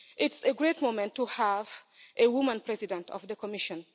It's a great moment to have a female President of the Commission.